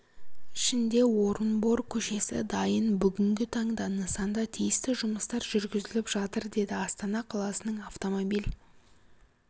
ішінде орынбор көшесі дайын бүгінгі таңда нысанда тиісті жұмыстар жүргізіліп жатыр деді астана қаласының автомобиль